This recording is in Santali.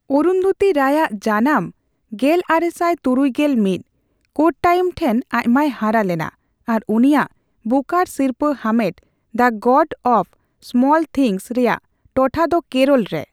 ᱚᱨᱩᱱᱫᱷᱩᱛᱤ ᱨᱟᱭ ᱟᱜ (ᱡᱟᱱᱟᱢ ᱜᱮᱞᱟᱨᱮᱥᱟᱭ ᱛᱩᱨᱩᱭ ᱜᱮᱞ ᱢᱤᱛ ) ᱠᱳᱴᱴᱟᱭᱢ ᱴᱷᱮᱱ ᱟᱭᱢᱟᱭ ᱦᱟᱨᱟᱞᱮᱱᱟ ᱟᱨ ᱩᱱᱤᱭᱟᱜ ᱵᱩᱠᱟᱨᱼ ᱥᱤᱨᱯᱟᱹᱼᱦᱟᱢᱮᱴ The God of Small Things ᱨᱮᱭᱟᱜ ᱴᱚᱴᱷᱟ ᱫᱚ ᱠᱮᱨᱚᱞᱨᱮ ᱾